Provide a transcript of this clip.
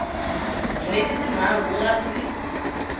hweti tinharhu ku nga si